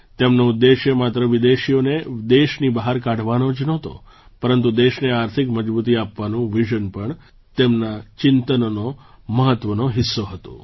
તેમનો ઉદ્દેશ્ય માત્ર વિદેશીઓને દેશની બહાર કાઢવાનો જ નહોતો પરંતુ દેશને આર્થિક મજબૂતી આપવાનું વિઝન પણ તેમના ચિંતનનો મહત્ત્વનો હિસ્સો હતું